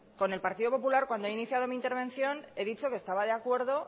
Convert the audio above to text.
con el partido popular cuando ha iniciado mi intervención he dicho que estaba de acuerdo